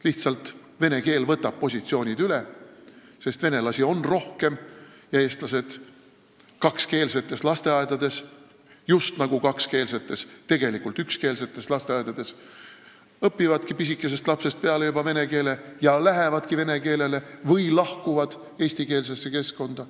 Lihtsalt vene keel võtab positsioonid üle, sest venelasi on rohkem ja eestlased õpivad kakskeelsetes lasteaedades – just nagu kakskeelsetes, tegelikult ükskeelsetes – pisikesest peale juba vene keele ära ja lähevadki vene keelele üle või lahkuvad eestikeelsesse keskkonda.